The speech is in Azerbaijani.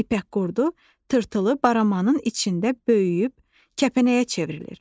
İpək qurdu tırtılı baramanın içində böyüyüb, kəpənəyə çevrilir.